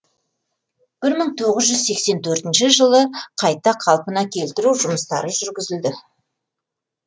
бір мың тоғыз жүз сексен төртінші жылы қайта қалпына келтіру жұмыстары жүргізілді